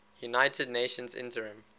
united nations interim